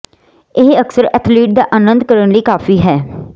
ਇਹ ਅਕਸਰ ਐਥਲੀਟ ਦਾ ਆਨੰਦ ਕਰਨ ਲਈ ਕਾਫ਼ੀ ਹੈ